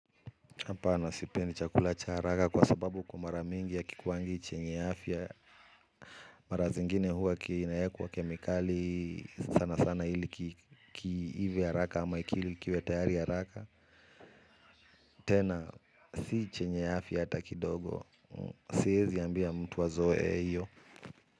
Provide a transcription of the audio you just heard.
Hapana sipendi chakula cha haraka kwa sababu kwa mara mingi yakikuwangi chenye afya. Mara zingine huwa kinawekwa kemikali sana sana ilikiive haraka ama akili kiwetayari haraka. Tena si chenye afya hata kidogo. Siezi ambia mtu azoe hiyo.